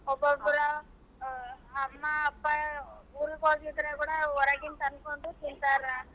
ಒಬ್ಬೊಬ್ರೂ ಅಮ್ಮಾ ಅಪ್ಪಾ ಊರಿಗ್ ಹೋಗಿದ್ರೆ ಕೂಡಾ ಹೊರಗಿಂದ ತಂದ್ಕೊಂಡ್ ತಿಂತಾರ.